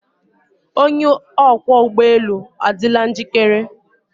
Onye ọkwọ ụgbọ elu adịla njikere?